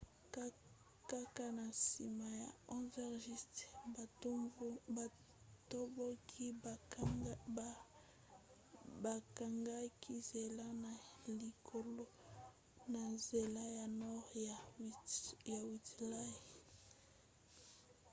kaka na nsima ya 11:00 batomboki bakangaki nzela na likalo na nzela ya nord ya whitehall